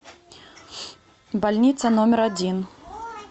больница номер один